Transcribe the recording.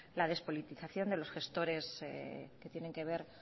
la despolitización de los gestores que tienen que ver